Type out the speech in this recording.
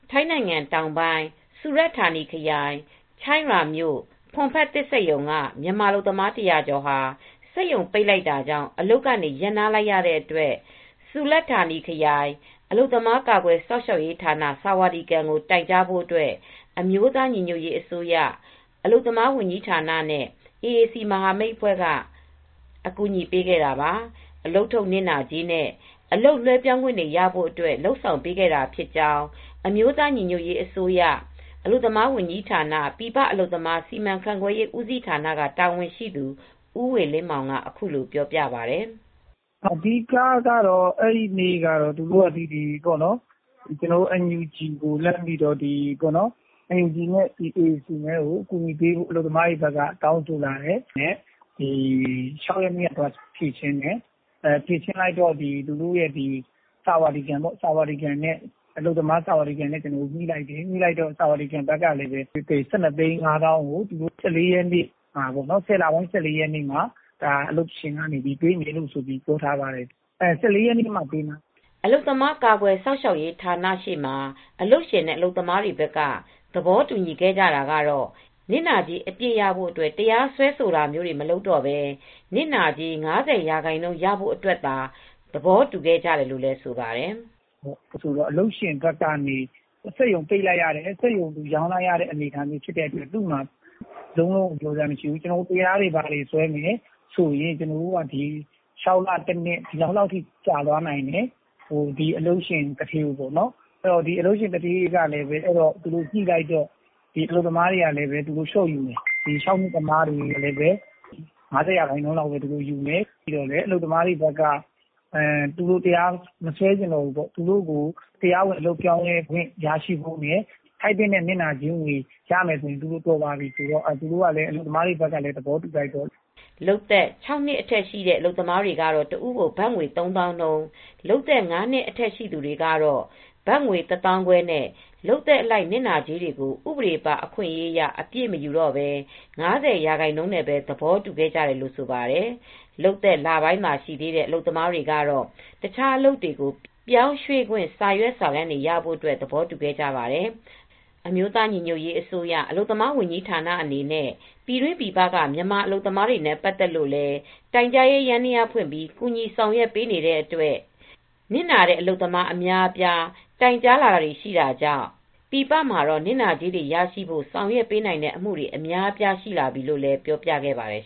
ထိုင်းနိုင်ငံတောင်ပိုင်း ၊ စူရပ်ဌာနီခရိုင် ချိုင့်ရာမြို့၊ ဖွန်ဖတ်သစ်စက်ရုံက မြန်မာအလုပ်သမား ၁၀၀ကျော်ဟာ စက်ရုံပိတ်လိုက်တာကြောင့် အလုပ်ကနေ ရပ်နားလိုက်ရတဲ့အတွက် စူရတ်ဌာနီခရိုင် အလုပ်သမားကာကွယ်စောင့်ရှောက်ရေးဌာန (ဆာဝါဒီကန်)ကို တိုင်ကြားဖို့အတွက် အမျိုးသားညီညွတ်ရေးအစိုးရ NUG ရဲ့ အလုပ်သမားဝန်ကြီးဌာနနဲ့ AAC မဟာမိတ်အဖွဲက အကူညီပေးခဲ့တာပါ။ အလုပ်ထုတ် နစ်နာကြေးနဲ့ အလုပ်လွဲပြောင်းခွင့်တွေရဖို့အတွက် လုပ်ဆောင်ပေးခဲ့တာဖြစ်ကြောင်း အမျိုးသားညီညွတ်ရေးအစိုးရNUG ရဲ့ အလုပ်သမားဝန်ကြီးဌာန ပြည်ပအလုပ်သမား စီမံခန့်ခွဲရေးဦးစီးဌာန တာဝန်ရှိသူ ဦးဝေလင်းမောင် က အခုလိုပြောပါတယ်။ " အဓိကကတော့ အဲဒီနေ့ကတော့ သူတို့က ကျနော်တို့ NUG နဲ့ AAC ကို အကူညီပေးဖို့ တောင်းဆိုလာတဲ့အတွက် အောက်တိုဘာလ ၆ ရက်နေ့ ကသွားဖြေရှင်းပေးတယ်။ ဖြေရှင်းလာတော့ ဆာဝါဒီကန် နဲ့ ညှိနှိုင်းလိုက်တယ်။ ဆာဝါဒီကန်ဘက်ကလည်း ၁၂သိန်းနဲ့ ၅သောင်း ကို ၁၄ရက်နေ့ မှာပေးဖို့ သဘောတူခဲ့တယ်။ ၁၄ရက်နေ့မှ ပေးမှာပါ" အလုပ်သမား ကာကွယ်စောင့်ရှောက်ရေးဌာနရှေ့မှာ အလုပ်ရှင်နဲ့ အလုပ်သမားတွေဘက်က သဘောတူခဲ့ကြတာကတော့ နစ်နာကြေး အပြည့်ရဖို့ တရားစွဲဆိုတာမျိုး မလုပ်တော့ပဲ နစ်နာကြေး ၅၀ရာခိုင်နှုံးရဖို့ အတွက် သဘောတူခဲ့ကြတယ်လို့ဆိုပါတယ်။ " အလုပ်ရှင်ဘက်ကနေ စက်ရုံပိတ်လိုက်ရတယ် ။ စက်ရုံရောင်းလိုက်ရတဲ့အတွက် သူ့မှာပေးစရာမရှိဘူး။ ကျနော်တို့က တရားတွေ ဘာတွေစွဲရင် လည်း ၆လ တနှစ်လောက်ကြာသွားနိုင်တယ်။ အလုပ်ရှင်သူဌေးကလည်း ညှိတော့ အလုပ်သမားတွေဘက်ကလည်း လျော့ယူမယ်။ ၅၀ ရာခိုင်နှုံးလောက်ပဲယူမယ်။ ၆နှစ်လုပ်သက်ရှိသူတွေကလည်း တဝက်ပဲယူမယ်။ အလုပ်သမားတွေဘက်ကလည်း သူတို့တရားစွဲဆိုတာမလုပ်တော့ဘူး ။ သူတို့ကို အလုပ်ပြောင်းလဲခွင့်နဲ့ ထိုက်သင့်တဲ့နစ်နာကြေးရရင် တော်ပါပြီဆိုပြီး အလုပ်သမားတွေဘက်ကလည်း သဘောတူလိုက်တယ်" လုပ်သက် (၆) နှစ် အထက်ရှိတဲ့ အလုပ်သမားတွေကတော့ တဦးကို ဘတ်ငွေ ၃သောင်းနှုံး၊ လုပ်သက်၅နှစ်ရှိသူတွေကတော့ တဦးကိုဘတ်ငွေ ၁၅၀၀၀ နဲ့ လုပ်သက်အလိုက် နစ်နာကြေးတွေကို ဥပဒေပါ အခွင့်အရေးအရ အပြည့်မယူတော့ပဲ ၅၀ရာခိုင်နှုံးပဲ သဘောတူခဲ့ကြတယ်လို့ ဆိုပါတယ်။ လုပ်သက် လပိုင်းသာရှိသေးတဲ့ အလုပ်သမားတွေကတော့ တခြားအလုပ်တွေကို ပြောင်းရွေ့ခွင့် စာရွက်စာတမ်းတွေရဖို့ သဘောတူခဲ့ပါတယ်။ အမျိုးသားညီညွတ်ရေးအစိုးရ၊ အလုပ်သမားဝန်ကြီးဌာနအနေနဲ့ ပြည်တွင်းပြည်ပကမြန်မာအလုပ်သမားတွေနဲ့ ပတ်သက်လိုလည်း တိုင်ကြားရေးယန္တယားဖွင့်ပြီး ကူညီဆောင်ရွက်နေတဲ့အတွက် နစ်နာတဲ့ အလုပ်သမားအများအပြား တိုင်ကြားလာကြတာကြောင့် ပြည်ပမှာတော့ နစ်နာကြေးတွေရရှိဖို့ ဆောင်ရွက်ပေးနိုင်တဲ့ အမူတွေ အများအပြာရှိလာပြီလို့လည်း ပြောပြခဲ့ပါတယ်